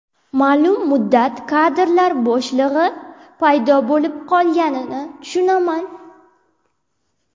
Ma’lum muddat kadrlar bo‘shlig‘i paydo bo‘lib qolganini tushunaman.